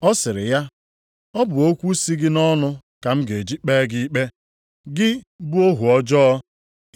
“Ọ sịrị ya, ‘Ọ bụ okwu si gị nʼọnụ ka m ga-eji kpee gị ikpe, gị bụ ohu ọjọọ!